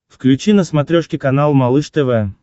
включи на смотрешке канал малыш тв